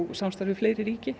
samstarf við fleiri ríki